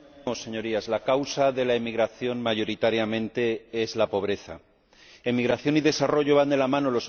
Señor Presidente, señorías, la causa de la emigración, mayoritariamente, es la pobreza. Emigración y desarrollo van de la mano.